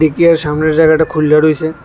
সামনের জায়গাটা খুইল্লা রইসে।